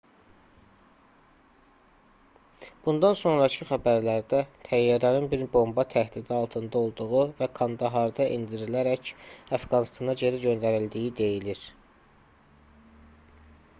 bundan sonrakı xəbərlərdə təyyarənin bir bomba təhdidi altında olduğu və kandaharda endirilərək əfqanıstana geri göndərildiyi deyilir